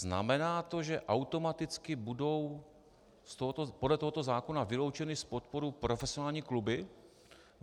Znamená to, že automaticky budou podle tohoto zákona vyloučeny z podpory profesionální kluby?